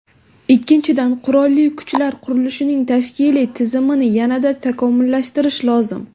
Ikkinchidan, Qurolli Kuchlar qurilishining tashkiliy tizimini yanada takomillashtirish lozim.